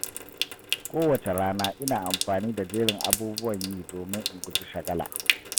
Kowace rana, ina amfani da jerin abubuwan yi domin in guji shagala.